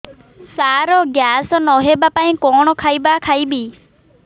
ସାର gas ନ ହେବା ପାଇଁ କଣ ଖାଇବା ଖାଇବି